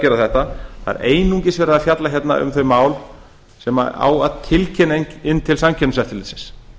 gera þetta það er einungis verið að fjalla um þau mál sem á að tilkynna inn til samkeppniseftirlitsins